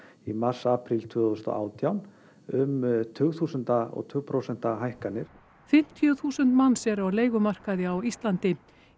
í mars apríl tvö þúsund og átján um tugþúsunda og tug prósenta hækkanir fimmtíu þúsund manns eru á leigumarkaði á Íslandi